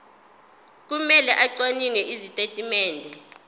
kumele acwaninge izitatimende